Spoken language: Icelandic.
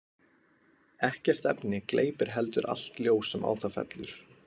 Ekkert efni gleypir heldur allt ljós sem á það fellur.